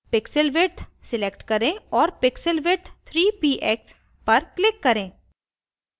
pixel width select करें और pixel width 3 px पर click करें